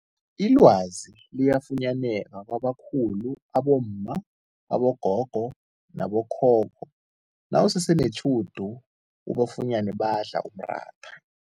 Ilwazi liyafunyaneka kwabakhulu abomma, abogogo nabokhokho nawusese netjhudu ubafunyene badla umratha.